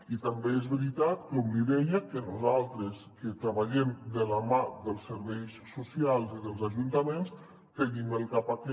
i també és veritat com li deia que nosaltres que treballem de la mà dels serveis so·cials i dels ajuntaments tenim al cap aquest